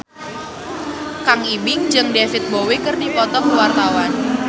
Kang Ibing jeung David Bowie keur dipoto ku wartawan